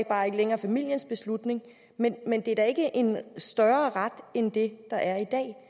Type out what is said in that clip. bare ikke længere familiens beslutning men men det er da ikke en større ret end det der er i dag